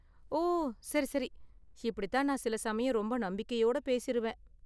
ஓ, சரி சரி! இப்படி தான் நான் சில சமயம் ரொம்ப நம்பிக்கையோட பேசிருவேன்.